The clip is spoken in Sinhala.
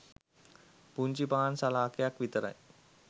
පුංචි පාන් සලාකයක් විතරයි.